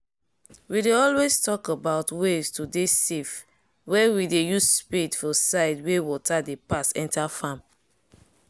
we dey always talk about ways to dey safe wen we dey use spade for side where water dey pass enter farm